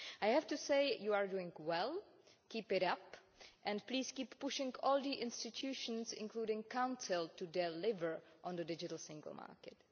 Mr Vice President, I have to say you are doing well keep it up, and please keep pushing all the institutions, including the Council, to deliver on the digital single market.